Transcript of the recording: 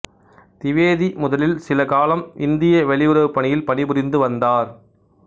திவேதி முதலில் சில காலம் இந்திய வெளியுறவுப் பணியில் பணிபுரிந்து வந்தார்